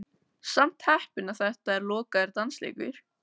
Samt heppinn að þetta er lokaður dansleikur.